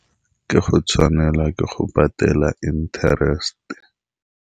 Ke a go tshwanelwa ke go patala interest-e.